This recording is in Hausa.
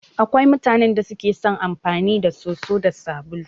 Akwai mutanan da suke son amfani da soso da sabulu.